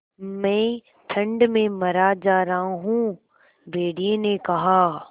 मैं ठंड में मरा जा रहा हूँ भेड़िये ने कहा